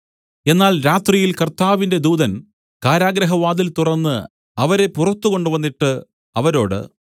എന്നാൽ രാത്രിയിൽ കർത്താവിന്റെ ദൂതൻ കാരാഗൃഹവാതിൽ തുറന്ന് അവരെ പുറത്തുകൊണ്ടുവന്നിട്ട് അവരോട്